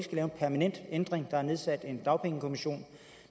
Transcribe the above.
permanent ændring der er nedsat en dagpengekommission